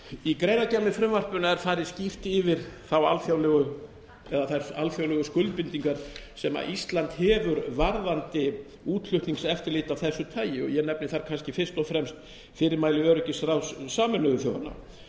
í greinargerð með frumvarpinu er farið skýrt yfir þær alþjóðlegu skuldbindingar sem ísland hefur varðandi útflutningseftirlit af þessu tagi ég nefni þar kannski fyrst og fremst fyrirmæli öryggisráðs sameinuðu þjóðanna